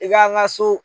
I ka n ka so